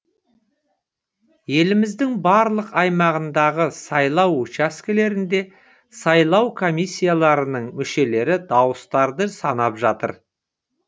еліміздің барлық аймағындағы сайлау учаскелерінде сайлау комиссияларының мүшелері дауыстарды санап жатыр